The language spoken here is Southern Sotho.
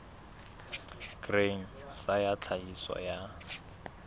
grain sa ya tlhahiso ya